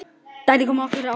Þetta kom okkur á óvart.